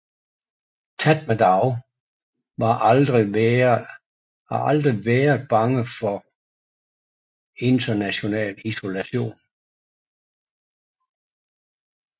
Tatmadaw var aldrig været bange for international isolation